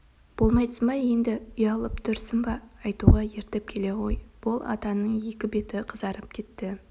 болмайсың ба енді ұялып тұрсың ба айтуға ертіп келе ғой бол атаның екі беті қызарып кетті